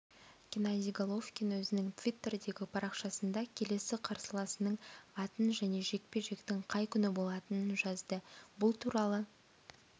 геннадий головкин өзінің твиттердегі парақшасында келесі қарсыласының атын және жекпе-жектің қай күні болатынын жазды бұл туралы